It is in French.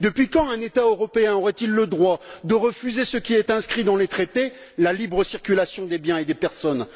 Depuis quand un État européen aurait il le droit de refuser ce qui est inscrit dans les traités, à savoir la libre circulation des biens et des personnes?